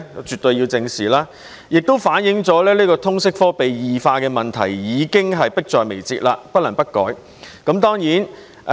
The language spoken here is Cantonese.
絕對要得到正視，這情況亦反映通識科被異化的問題已經迫在眉睫，不得不改。